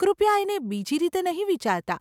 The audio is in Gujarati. કૃપયા, એને બીજી રીતે નહીં વિચારતા.